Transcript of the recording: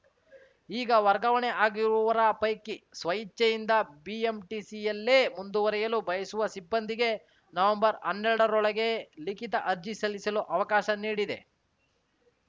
ಈಗ ವರ್ಗಾವಣೆ ಆಗಿರುವವರ ಪೈಕಿ ಸ್ವಇಚ್ಛೆಯಿಂದ ಬಿಎಂಟಿಸಿಯಲ್ಲೇ ಮುಂದುವರಿಯಲು ಬಯಸುವ ಸಿಬ್ಬಂದಿಗೆ ನವಂಬರ್ಹನ್ನೆರಡರೊಳಗ ಲಿಖಿತ ಅರ್ಜಿ ಸಲ್ಲಿಸಲು ಅವಕಾಶ ನೀಡಿದೆ